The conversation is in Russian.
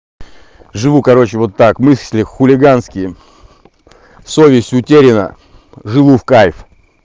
живу короче вот так мысли хулиганские совесть утеряна живу в кайф